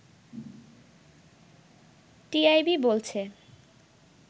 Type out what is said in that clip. TIB বলছে